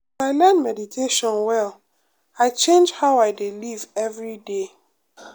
as i learn meditation well i change how i dey live every day.